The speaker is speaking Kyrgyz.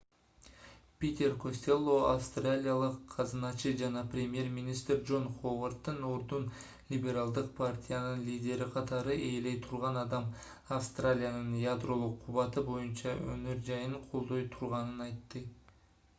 питер костелло австралиялык казыначы жана премьер-министр джон ховарддын ордун либералдык партиянын лидери катары ээлей турган адам австралиянын ядролук кубаты боюнча өнөр-жайын колдой турганын айтты